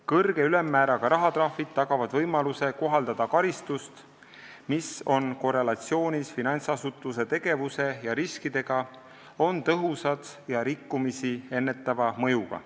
Kõrge ülemmääraga rahatrahvid tagavad võimaluse kohaldada karistust, mis on korrelatsioonis finantsasutuse tegevuse ja riskidega, on tõhusad ja rikkumisi ennetava mõjuga.